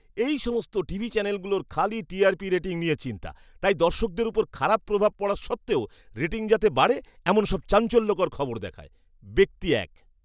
এই সমস্ত টিভি চ্যানেলগুলোর খালি টিআরপি রেটিং নিয়ে চিন্তা, তাই দর্শকদের ওপর খারাপ প্রভাব পড়ার সত্ত্বেও রেটিং যাতে বাড়ে এমন সব চাঞ্চল্যকর খবর দেখায়। ব্যক্তি এক